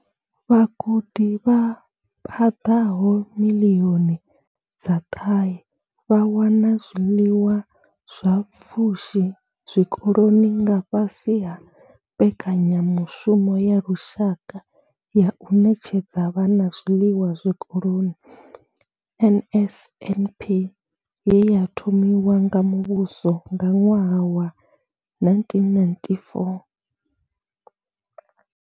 Vhagudi vha paḓaho miḽioni dza ṱahe vha wana zwiḽiwa zwa pfushi zwikoloni nga fhasi ha mbekanyamushumo ya lushaka ya u ṋetshedza Vhana zwiḽiwa zwikoloni NSNP ye ya thomiwa nga muvhuso nga ṅwaha wa 1994.